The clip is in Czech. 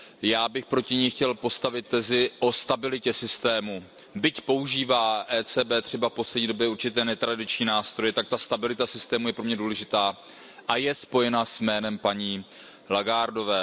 Já bych proti ní chtěl postavit tezi o stabilitě systému, byť používá ECB třeba v poslední době určité netradiční nástroje, tak ta stabilita systému je pro mě důležitá a je spojena se jménem paní Lagardeové.